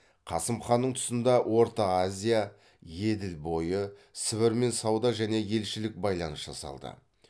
қасым ханның тұсында орта азия еділ бойы сібірмен сауда және елшілік байланыс жасалды